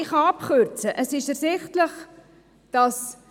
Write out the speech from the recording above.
Ich kann es abkürzen, denn es ist klar: